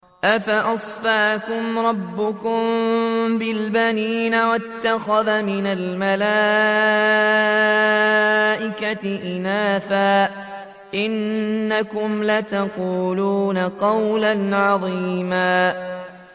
أَفَأَصْفَاكُمْ رَبُّكُم بِالْبَنِينَ وَاتَّخَذَ مِنَ الْمَلَائِكَةِ إِنَاثًا ۚ إِنَّكُمْ لَتَقُولُونَ قَوْلًا عَظِيمًا